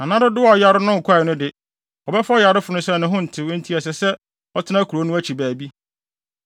Na nna dodow a ɔyare no nkɔe no de, wɔbɛfa ɔyarefo no sɛ ne ho ntew enti ɛsɛ sɛ ɔtena kurow no akyi baabi.